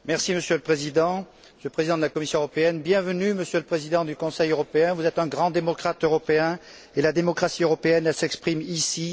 Monsieur le Président, Monsieur le Président de la Commission européenne, bienvenue Monsieur le Président du Conseil européen, vous êtes un grand démocrate européen et la démocratie européenne, elle s'exprime ici.